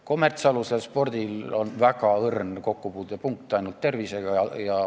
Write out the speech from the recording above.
Kommertsalusel tehtaval spordil on ainult väga õrn kokkupuutepunkt tervisega.